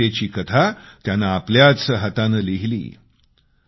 यशस्वीतेची कथा त्यानं आपल्याच हातानं लिहिली